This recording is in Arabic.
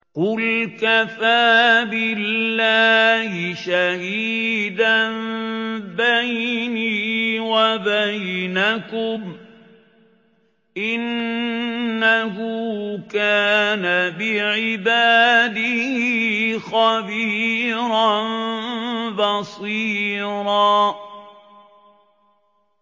قُلْ كَفَىٰ بِاللَّهِ شَهِيدًا بَيْنِي وَبَيْنَكُمْ ۚ إِنَّهُ كَانَ بِعِبَادِهِ خَبِيرًا بَصِيرًا